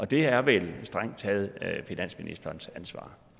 det er vel strengt taget finansministerens ansvar